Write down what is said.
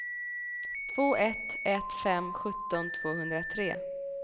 två ett ett fem sjutton tvåhundratre